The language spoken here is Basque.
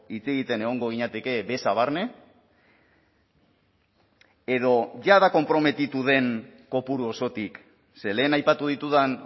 hitz egiten egongo ginateke beza barne edo jada konprometitu den kopuru osotik ze lehen aipatu ditudan